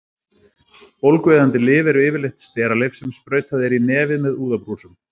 Bólgueyðandi lyf eru yfirleitt steralyf sem sprautað er í nefið með úðabrúsum.